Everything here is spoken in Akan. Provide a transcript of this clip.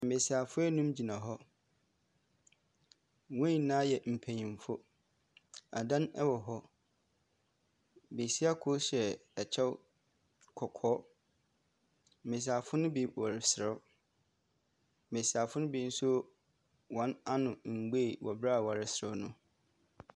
Mmesiafo enum gyina hɔ. Wɔn nyinaa yɛ mpanyinfo. Adan ɛwɔ hɔ. Besia kor hyɛ ɛkyɛw kɔkɔɔ. Mmesia fo no bi wɔreserew. Mmesiafo no bi nso wɔn ano mbue wɔ abere a wɔreserew no.